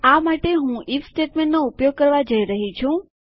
આ માટે હું આઇએફ સ્ટેટમેન્ટનો ઉપયોગ કરવા જઈ રહી છું